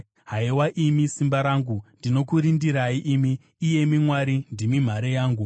Haiwa imi simba rangu, ndinokurindirai; imi, iyemi Mwari, ndimi nhare yangu,